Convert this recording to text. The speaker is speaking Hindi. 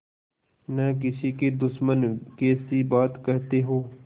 न किसी के दुश्मन कैसी बात कहते हो